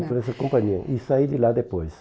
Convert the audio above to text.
Foi para essa companhia e saí de lá depois.